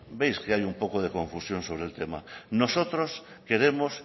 veis que hay un poco de confusión sobre el tema nosotros queremos